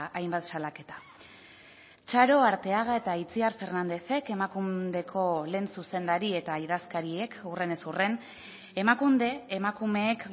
hainbat salaketa txaro arteaga eta itziar fernándezek emakundeko lehen zuzendari eta idazkariek hurrenez hurren emakunde emakumeek